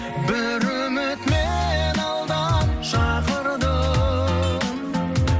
бір үміт мені алдан шақырды